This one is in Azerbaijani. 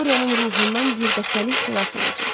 Dorianın ruhundan birdəfəlik xilas olacaq.